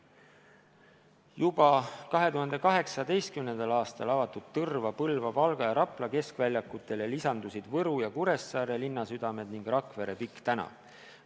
Juba 2018. aastal avatud Tõrva, Põlva, Valga ja Rapla keskväljakule lisandusid Võru ja Kuressaare linnasüda ning Rakvere Pikk tänav.